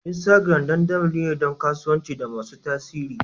Instagram dandali ne don kasuwanci da masu tasiri.